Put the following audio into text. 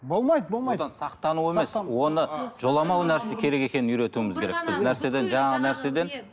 болмайды болмайды одан сақтану емес оны жоламау керек екенін үйретуіміз керекпіз